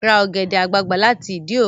Ra ọ̀gẹ̀dẹ̀ àgbagbà láti Ìdí òro!